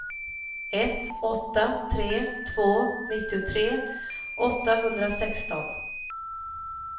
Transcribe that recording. ett åtta tre två nittiotre åttahundrasexton